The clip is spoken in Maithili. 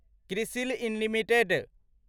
क्रिसिल लिमिटेड